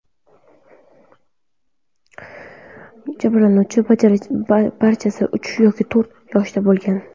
Jabrlanuvchilarning barchasi uch yoki to‘rt yoshda bo‘lgan.